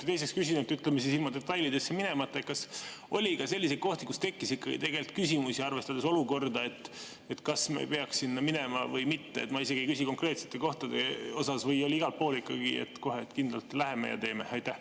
Ja teiseks küsin, ütleme, ilma detailidesse minemata: kas oli ka selliseid kohti, kus tekkis ikkagi küsimusi, arvestades olukorda, kas me peaksime sinna minema või mitte – ma isegi ei pea silmas konkreetseid kohti –, või oli igal pool nii, et kohe kindlalt läheme ja teeme?